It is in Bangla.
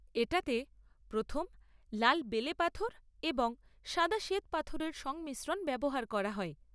এটাতে প্রথম লাল বেলেপাথর এবং সাদা শ্বেতপাথরের সংমিশ্রণ ব্যবহার করা হয়।